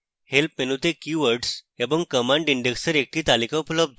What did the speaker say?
help menu তে keywords এবং command index এর একটি তালিকা উপলব্ধ